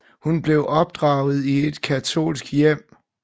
Hun blev opdraget i et katolsk hjem